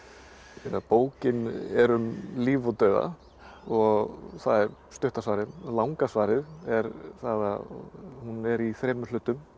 um bókin er um líf og dauða og það er stutta svarið langa svarið er það að hún er í þremur hlutum